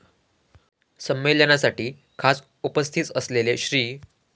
संमेलनासाठी खास उपस्थित असलेले श्री.